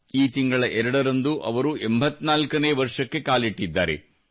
ಈ ತಿಂಗಳ ಎರಡರಂದು ಅವರು 84ನೇ ವರ್ಷಕ್ಕೆ ಕಾಲಿಟ್ಟಿದ್ದಾರೆ